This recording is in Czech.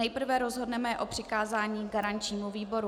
Nejprve rozhodneme o přikázání garančnímu výboru.